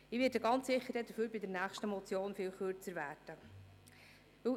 Ich werde mich deshalb bei der nächsten Motion wesentlich kürzer fassen.